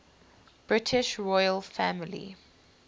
british royal family